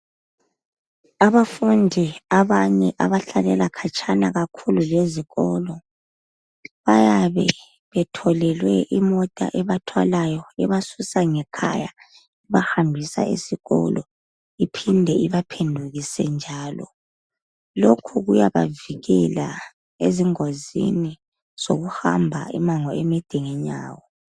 Abafundi abanye abahlalela khatshana lezikolo bayabe betholelwe imoto ebathwalayo ebasusa ngekhaya ibahambisa esikolo iphinde ibaphendukise njalo. Lokhu kuyabavikela ezingozini zokuhamba umango omude ngenyawo.